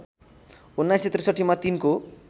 १९६३ मा तिनको